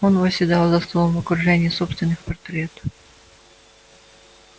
он восседал за столом в окружении собственных портретов